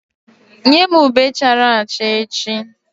Nye m ube chara acha echi!